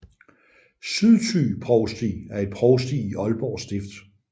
Sydthy Provsti er et provsti i Aalborg Stift